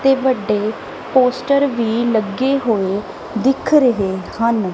ਤੇ ਵੱਡੇ ਪੋਸਟਰ ਵੀ ਲੱਗੇ ਹੋਏ ਦਿੱਖ ਰਹੇ ਹਨ।